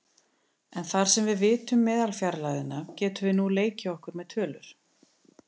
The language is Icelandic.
En þar sem við vitum meðalfjarlægðina getum við nú leikið okkur með tölur.